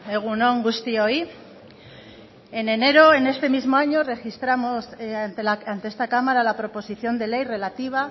egun on guztioi en enero en este mismo año registramos ante esta cámara la proposición de ley relativa